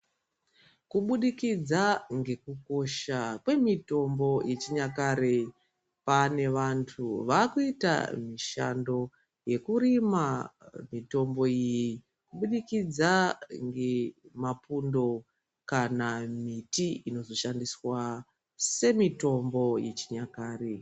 Kubudikidza ngekukosha kwemitombo yechinyakare pane vantu vakuita mishando yekurima mitombo iyi kubudikidza ngemapundo kana miti inozoshandiswa semitombo yechinyakare.